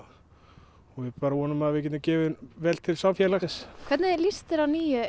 og ég vona að við getum gefið vel til samfélagsins hvernig líst þér á nýju